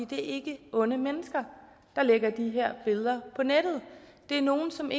det er ikke onde mennesker der lægger de her billeder på nettet det er nogle som